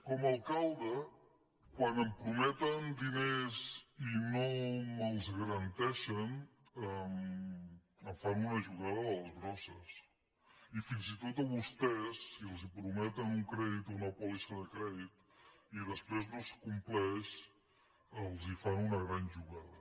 com a alcalde quan em prometen diners i no me’ls garanteixen em fan una jugada de les grans i fins i tot a vostès si els prometen un crèdit o una pòlissa de crèdit i després no es com·pleix els fan una gran jugada